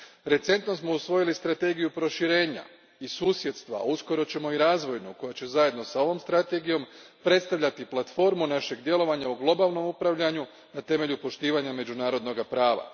Recentno smo usvojili strategiju proširenja i susjedstva, a uskoro ćemo i razvojnu, koja će zajedno s ovom strategijom predstavljati platformu našeg djelovanja u globalnom upravljanju na temelju poštivanja međunarodnoga prava.